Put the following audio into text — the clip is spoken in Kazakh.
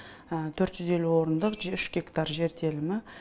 төрт жүз елу орындық үш гектар жер телімі